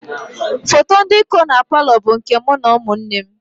Foto ndị kọ na paalọ bụ nke mụ na ụmụ nne m